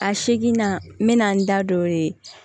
A seginna n bɛna n da don